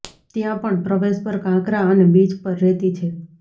ત્યાં પણ પ્રવેશ પર કાંકરા અને બીચ પર રેતી છે